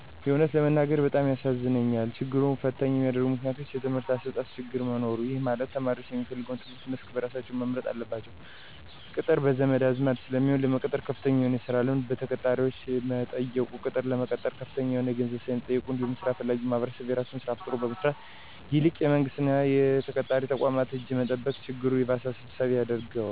የእውነት ለመናገር በጣም ያሳዝነኛል። ችግሩን ፈተኝ ከሚያደርጉት ምክንያቶች:- የትምህርት አሰጣጥ ችግር መኖር:- ይህ ማለት ተማሪዎች የሚፈልገውን የትምህርት መስክ በራሳቸው መምረጥ አለመቻላቸው፤ ቅጥር በዘመድ አዝማድ ስለሚሆን፤ ለመቀጠር ከፍተኛ የሆነ የስራ ልምድ በቀጣሪዎች መጠየቁ፤ ቅጥር ለመቀጠር ከፍተኛ የሆነ ገንዘብ ስለሚጠየቅበት እንዲሁም ስራ ፈላጊዉ ማህበረሰብ የራሱን ስራ ፈጥሮ ከመስራት ይልቅ የመንግስት እና የቀጣሪ ተቋማትን እጅ መጠበቅ ችግሩ ይባስ አሳሳቢ ያደርገዋል።